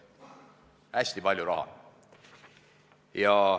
Hästi palju raha!